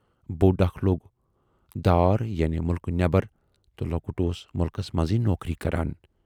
بوڈ اکھ لوگ دار یعنی مُلکہٕ نٮ۪بر تہٕ لۅکُٹ اوس مُلکس منزٕے نوکری کران۔